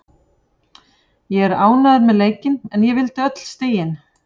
Ég er ánægður með leikinn en ég vildi öll stigin.